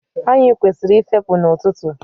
Anyị kwesịrị ị fepụ n'ọtụtụ.